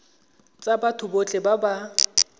tsa batho botlhe ba ba